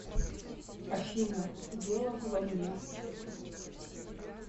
афина дело во мне